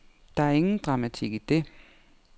Der er ingen dramatik i det.